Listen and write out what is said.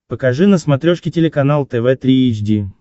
покажи на смотрешке телеканал тв три эйч ди